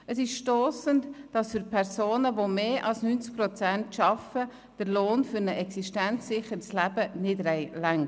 Es ist stossend, dass der Lohn für ein existenzsicherndes Leben für Personen, die mehr als 90 Prozent arbeiten, nicht reicht.